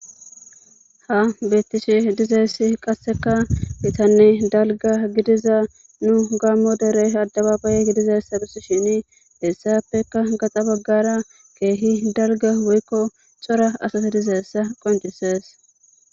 ha beettishe dizayissi qasseka mitanne dalga gidiza nu gammo derey addababaye gidizayissa besishini hessappeka gaxa baggara keehi dalga woykko cora asata dizayissa qoncises